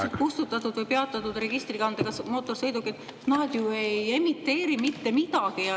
… need ajutiselt kustutatud või peatatud registrikandega mootorsõidukid ju ei emiteeri mitte midagi.